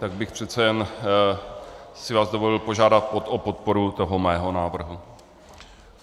Tak bych přece jen si vás dovolil požádat o podporu toho mého návrhu.